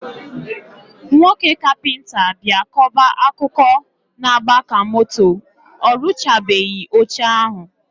Nwoke kapịnta bịa kọba akụkọ na agba ka moto, orụchabeghi oche ahụ